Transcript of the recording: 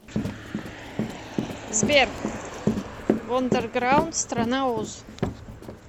сбер вондерграунд страна оз